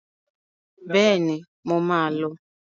Bẹ́ẹ̀ni, mo máa lọ.